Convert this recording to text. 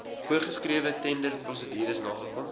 voorsgeskrewe tenderprosedures nakom